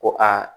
Ko aa